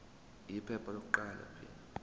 iphepha lokuqala p